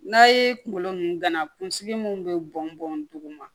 N'a ye kunkolo nunnu gana kunsigi mun be bɔn bɔn dugu ma